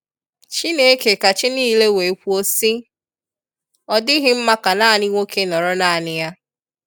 Chineke ka chi niile wee kwuo sị, ọ dịghị mma ka naanị nwoke nọrọ naanị ya.